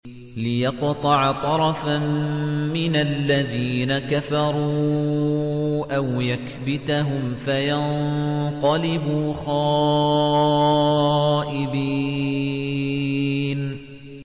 لِيَقْطَعَ طَرَفًا مِّنَ الَّذِينَ كَفَرُوا أَوْ يَكْبِتَهُمْ فَيَنقَلِبُوا خَائِبِينَ